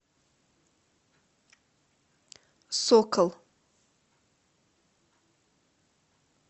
сокол